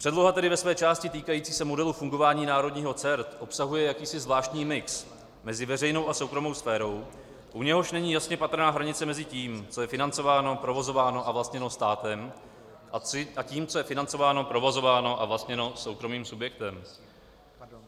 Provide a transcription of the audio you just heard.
Předloha tedy ve své části týkající se modelu fungování národního CERT obsahuje jakýsi zvláštní mix mezi veřejnou a soukromou sférou, u něhož není jasně patrná hranice mezi tím, co je financováno, provozováno a vlastněno státem, a tím, co je financováno, provozováno a vlastněno soukromým subjektem.